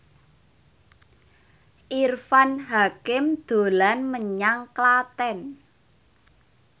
Irfan Hakim dolan menyang Klaten